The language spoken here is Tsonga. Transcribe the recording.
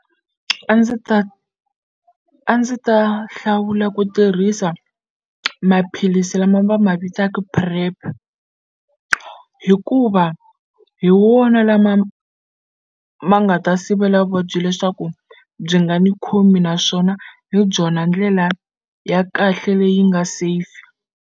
A ndzi ta a ndzi ta hlawula ku tirhisa maphilisi lama va ma vitaka PrEP hikuva hi wona lama ma nga ta sivela vuvabyi leswaku byi nga ni khomi naswona hi byona ndlela ya kahle leyi nga safe.